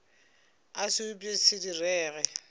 a se upše se direge